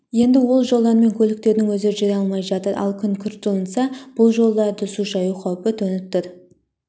енді ол жолдармен көліктердің өзі жүре алмай жатыр ал күн күрт жылынса бұл жолдарды су шаю қаупі төніп тұр